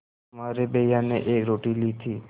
तुम्हारे भैया ने एक रोटी ली थी